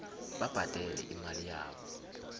babhadele imali yabo